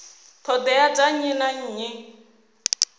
ṱhoḓea dza nnyi na nnyi